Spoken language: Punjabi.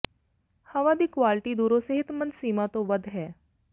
ਹਵਾ ਦੀ ਕੁਆਲਟੀ ਦੂਰੋਂ ਸਿਹਤਮੰਦ ਸੀਮਾ ਤੋਂ ਵੱਧ ਹੈ